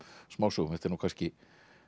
smásögum þetta er nú kannski